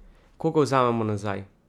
Koga vzamemo nazaj?